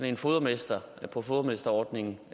en fodermester på fodermesterordningen